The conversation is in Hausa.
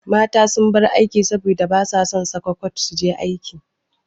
Mata sun bar aiki saboda basa son saka kwat suje aiki.